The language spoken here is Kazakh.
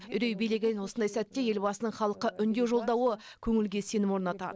үрей билеген осындай сәтте елбасының халыққа үндеу жолдауы көңілге сенім орнатады